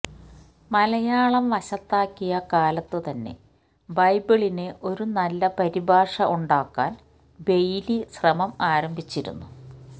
മലയാളം വശത്താക്കിയ കാലത്ത് തന്നെ ബൈബിളിന് ഒരു നല്ല പരിഭാഷ ഉണ്ടാക്കാൻ ബെയ്ലി ശ്രമം ആരംഭിച്ചിരുന്നു